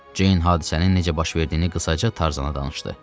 Ceyn hadisənin necə baş verdiyini qısaca Tarzana danışdı.